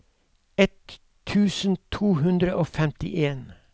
ett tusen to hundre og femtien